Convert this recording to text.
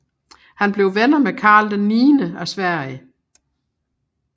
Han blev venner med Karl XI af Sverige